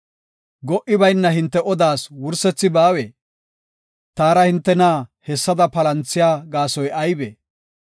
Go77i bayna hinte odaas wursethi baawee? taara hintena hessada palanthiya gaasoy aybee?